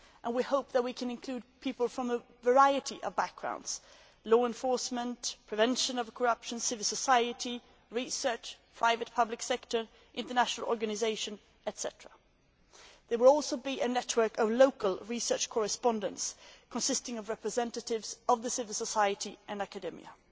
We hope that we can include people from a variety of backgrounds law enforcement, prevention of corruption, civil society, research, the private and public sectors, international organisations, etc. There will also be a network of local research correspondents consisting of representatives of civil society and academia.